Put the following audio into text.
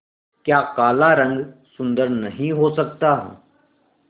क्या काला रंग सुंदर नहीं हो सकता